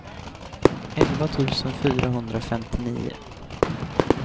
elva tusen fyrahundrafemtionio